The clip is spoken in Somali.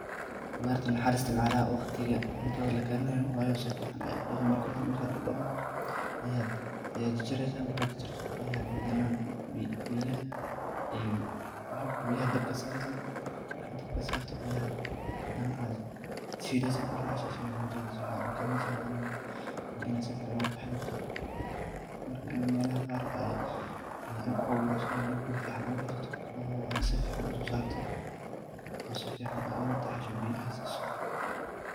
Marka horta waxad si fican u daqii marki cuntada laka rinayo, ayad jajaresa ,marki jajarto ayaa hadana biyaha dabka saresa ,markad badka sarto ayaad hadana shilesa ,marka aad shisho ayaad cuntada si fican u karinesa . Waa inaad si fican u qebta melaha qaar aad ku abureso waa inaad guri fican u radsato oo si fican aad uso sarto biyana aad sisoo.